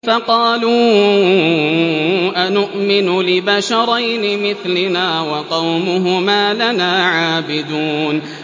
فَقَالُوا أَنُؤْمِنُ لِبَشَرَيْنِ مِثْلِنَا وَقَوْمُهُمَا لَنَا عَابِدُونَ